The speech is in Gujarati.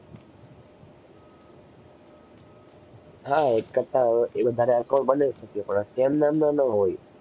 હા એક કરતાં વધારે account બનાવી શકીએ પણ same નામ ના ન હોય.